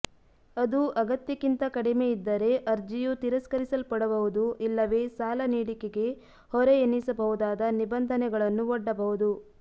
ಅದು ಅಗತ್ಯಕ್ಕಿಂತ ಕಡಿಮೆಯಿದ್ದರೆ ಅರ್ಜಿಯು ತಿರಸ್ಕರಿಸಲ್ಪಡಬಹುದು ಇಲ್ಲವೇ ಸಾಲ ನೀಡಿಕೆಗೆ ಹೊರೆ ಎನ್ನಿಸಬಹುದಾದ ನಿಬಂಧನೆಗಳನ್ನು ಒಡ್ಡಬಹುದು